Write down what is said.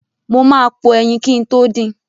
Mo ma po ẹyin kin tó din.